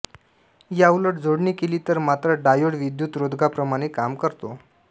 याउलट जोडणी केली तर मात्र डायोड विद्युतरोधकाप्रमाणे काम करतो